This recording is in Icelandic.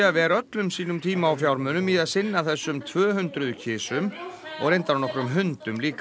ver öllum sínum tíma og fjármunum í að sinna þessum tvö hundruð kisum og reyndar nokkrum hundum líka